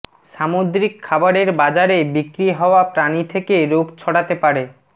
সামুদ্রিক খাবারের বাজারে বিক্রি হওয়া প্রাণী থেকে রোগ ছড়াতে পারে